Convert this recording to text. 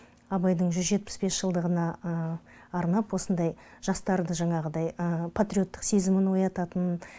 абайдың жүз жетпіс бес жылдығына арнап осындай жастарды жаңағыдай патриоттық сезімін оятатын